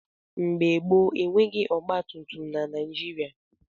Mgbe gboo, e nweghị ọgbatumtum na Naịjịrịa.